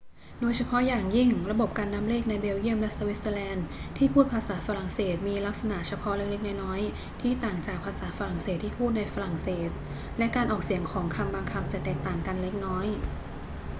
โดยเฉพาะอย่างยิ่ง ระบบการนับเลขในเบลเยียมและสวิตเซอร์แลนด์ที่พูดภาษาฝรั่งเศสมีลักษณะเฉพาะเล็ก ๆ น้อย ๆ ที่ต่างจากภาษาฝรั่งเศสที่พูดในฝรั่งเศส และการออกเสียงของคำบางคำจะแตกต่างกันเล็กน้อย